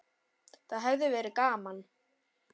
Það hefði verið gaman.